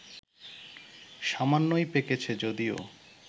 সামান্যই পেকেছে যদিও